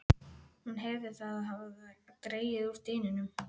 Hún heyrði að það hafði dregið úr dyninum.